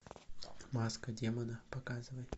маска демона показывай